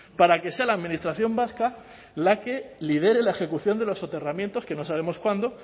para que sea la administración vasca la que lidere la ejecución de los soterramientos que no sabemos cuándo